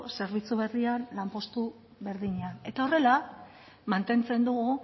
zerbitzu berrian lanpostu berdinean eta horrela mantentzen dugu